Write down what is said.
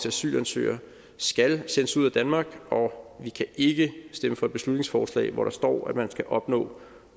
asylansøgere skal sendes ud af danmark og vi kan ikke stemme for et beslutningsforslag hvor der står at man skal opnå